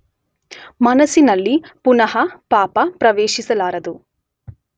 ಮನಸ್ಸಿನಲ್ಲಿ ಪುನಃ ಪಾಪ ಪ್ರವೇಶಿಸಲಾರದು.